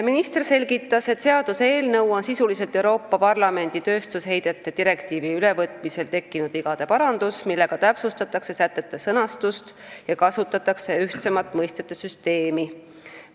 Minister selgitas, et seaduseelnõu on sisuliselt Euroopa Parlamendi tööstusheidete direktiivi ülevõtmisel tekkinud vigade parandus, millega täpsustatakse sätete sõnastust ja kasutatakse ühtsemat mõistete süsteemi.